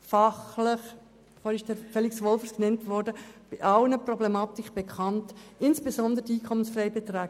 Fachlich sind eigentlich alle Problematiken bekannt, insbesondere jene betreffend die EFB.